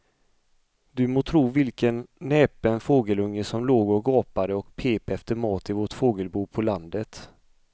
Du må tro vilken näpen fågelunge som låg och gapade och pep efter mat i vårt fågelbo på landet.